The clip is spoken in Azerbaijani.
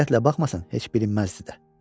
Diqqətlə baxmasan heç bilinməzdi də.